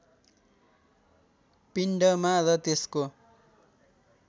पिण्डमा र त्यसको